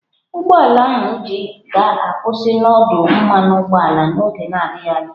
Ụgbọ ala anyị ji ga-akwụsị n'ọdụ mmanụ ụgbọala n'oge na-adịghị anya.